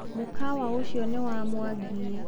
Mũkawa ũcio nĩ wa Mwangi.